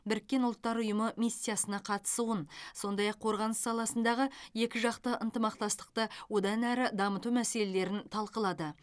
біріккен ұлттар ұйымы миссиясына қатысуын сондай ақ қорғаныс саласындағы екіжақты ынтымақтастықты одан әрі дамыту мәселелерін талқылады